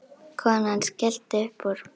Konan skellti upp úr.